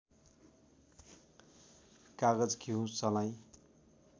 कागज घिउ सलाई